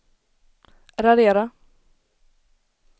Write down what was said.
radera